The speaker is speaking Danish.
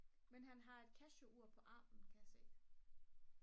men han har et casio ur på armen kan jeg se